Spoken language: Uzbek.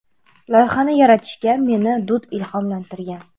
Loyihani yaratishga meni Dud ilhomlantirgan.